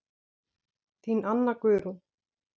Þín Anna Guðrún.